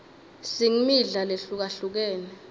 singmidla lehlukahlukene